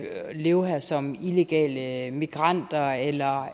leve her som illegale migranter eller